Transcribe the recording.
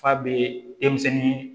F'a bɛ denmisɛnnin